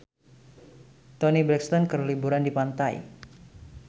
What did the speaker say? Toni Brexton keur liburan di pantai